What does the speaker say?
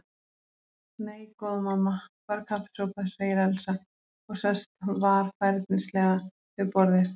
Nei, góða mamma, bara kaffisopa, segir Elsa og sest varfærnislega við borðið.